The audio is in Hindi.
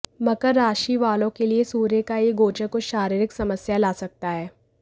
मकर राशि वालों के लिए सूर्य का यह गोचर कुछ शारीरिक समस्याएं ला सकता है